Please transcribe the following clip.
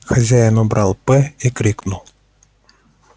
хозяин убрал п и крикнул